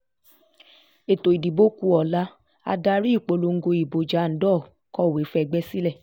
ètò ìdìbò kù ọ̀la adarí ìpolongo ìbò jandor kọ̀wé fẹ́gbẹ́ sílẹ̀